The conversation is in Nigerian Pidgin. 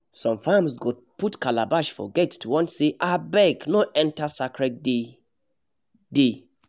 some farms go put calabash for gate to warn say “abeg no enter sacred day dey